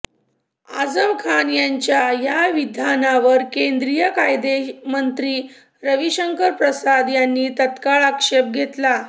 आझम खान यांच्या या विधानावर केंद्रीय कायदेमंत्री रवीशंकर प्रसाद यांनी तात्काळ आक्षेप घेतला